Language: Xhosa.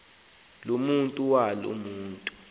lomandlalo waloo mntu